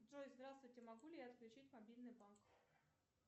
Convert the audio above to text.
джой здравствуйте могу ли я отключить мобильный банк